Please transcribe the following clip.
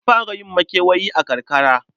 An fara yin makewayi a karakara.